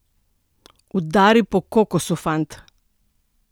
Udari po kokosu, fant!